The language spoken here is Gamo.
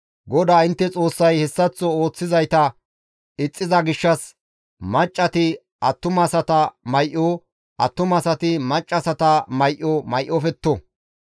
GODAA intte Xoossay hessaththo ooththizayta ixxiza gishshas maccati attumasata may7o, attumasati maccassata may7o may7ofetto.